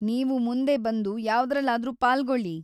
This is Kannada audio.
ನೀವು ಮುಂದೆ ಬಂದು ಯಾವ್ದ್ರಲ್ಲಾದ್ರೂ ಪಾಲ್ಗೊಳ್ಳಿ.